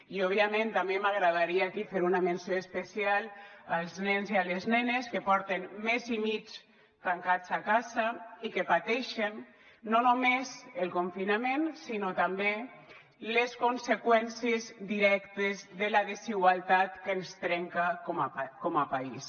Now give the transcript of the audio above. i òbviament també m’agradaria aquí fer una menció especial als nens i a les nenes que porten mes i mig tancats a casa i que pateixen no només el confinament sinó també les conseqüències directes de la desigualtat que ens trenca com a país